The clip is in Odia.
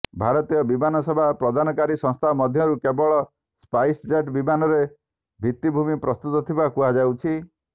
ଭାରତୀୟ ବିମାନ ସେବା ପ୍ରଦାନକାରୀ ସଂସ୍ଥାଙ୍କ ମଧ୍ୟରୁ କେବଳ ସ୍ପାଇସ୍ଜେଟ୍ ବିମାନରେ ଭିତ୍ତିଭୂମି ପ୍ରସ୍ତୁତ ଥିବା କୁହାଯାଉଛି